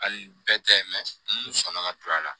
Hali bɛɛ tɛ sama ka don a la